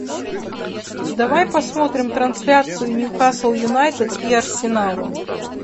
давай посмотрим трансляцию ньюкасл юнайтед и арсенал